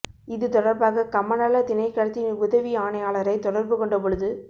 இது தொடர்பாக கமநல திணைக்களத்தின் உதவி ஆணையாளரை தொடர்பு கொண்ட பொழுது